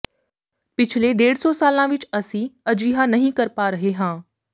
ਪਿਛਲੇ ਡੇਢ ਦੋ ਸਾਲਾਂ ਵਿਚ ਅਸੀਂ ਅਜਿਹਾ ਨਹੀਂ ਕਰ ਪਾ ਰਹੇ ਹਾਂ